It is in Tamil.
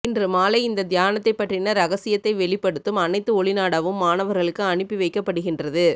இன்று மாலை இந்த தியானத்தை பற்றின இரகசியத்தை வெளிப்படுத்தும் அனைத்து ஒளிநாடாவும் மாணவர்களுக்கு அனுப்பி வைக்க படுகின்றது